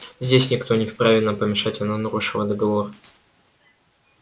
здесь никто не вправе нам помешать она нарушила договор